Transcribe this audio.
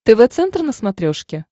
тв центр на смотрешке